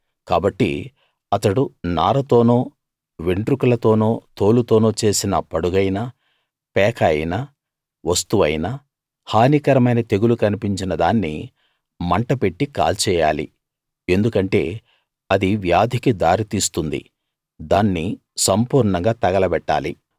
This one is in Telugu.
కాబట్టి అతడు నారతోనో వెంట్రుకలతోనో తోలుతోనో చేసిన పడుగైనా పేక అయినా వస్తువైనా హానికరమైన తెగులు కన్పించిన దాన్ని మంట పెట్టి కాల్చేయాలి ఎందుకంటే అది వ్యాధికి దారితీస్తుంది దాన్ని సంపూర్ణంగా తగలబెట్టాలి